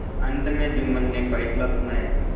अंत में जुम्मन ने फैसला सुनाया